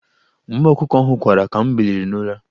Mgbe ọkụkọ ahụ kwara, ka m biliri n'ụra.